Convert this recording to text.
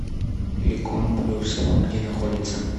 ликон плюс где находится